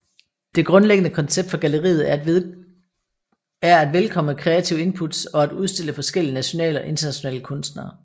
Det grundlæggende koncept for galleriet er at velkomme kreative inputs og at udstille forskellige nationale og internationale kunstnere